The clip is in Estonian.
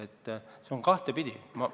Nii et see on kahtepidi asi.